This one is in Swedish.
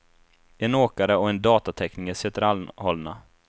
En åkare och en datatekniker sitter anhållna.